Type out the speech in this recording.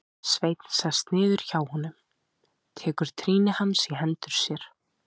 Sveinn sest niður hjá honum, tekur trýni hans í hendur sér.